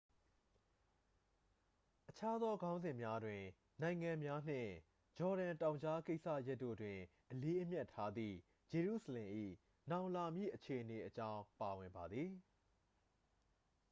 အခြားသော ခေါင်းစဉ်များတွင် နိုင်ငံများနှင့် ဂျော်ဒန်တောင်ကြားကိစ္စရပ်တို့တွင် အလေးအမြတ်ထားသည့် ဂျေရုဆလင်၏ နောင်လာမည့်အခြေအနေအကြောင်း ပါဝင်ပါသည်